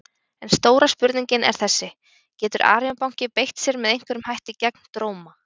En stóra spurningin er þessi: Getur Arion banki beitt sér með einhverjum hætti gegn Dróma?